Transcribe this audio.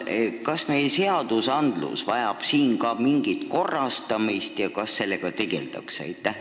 Teiseks: kas meie seadused vajavad selles mõttes mingit muutmist ja kui vajavad, siis kas sellega tegeldakse?